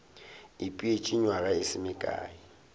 ipeetše nywaga e se mekae